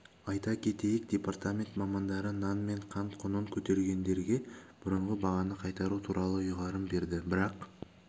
айта кетейік департамент мамандары нан мен қант құнын көтергендерге бұрынғы бағаны қайтару туралы ұйғарым берді бірақ